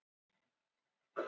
Húnavatnssýslu, um vetur.